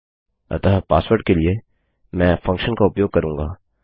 अतः पासवर्ड के लिए मैं फंक्शन का उपयोग करूँगा